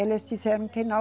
Eles disseram que não.